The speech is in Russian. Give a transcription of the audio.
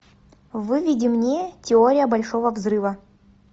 выведи мне теория большого взрыва